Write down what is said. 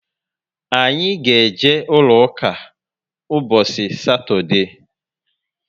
Anyị ga eje ụlọ ụka mbosi satode